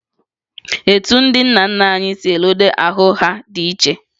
Etu ndị nna nna anyị si ledo ahụ ha dị iche